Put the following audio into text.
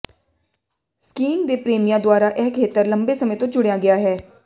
skiing ਦੇ ਪ੍ਰੇਮੀਆਂ ਦੁਆਰਾ ਇਹ ਖੇਤਰ ਲੰਬੇ ਸਮੇਂ ਤੋਂ ਚੁਣਿਆ ਗਿਆ ਹੈ